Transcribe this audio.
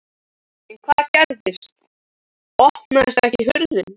En hvað gerist. opnast ekki hurðin!